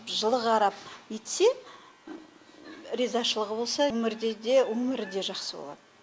жылы қарап етсе ризашылығы болса өмірде де өмірі де жақсы болады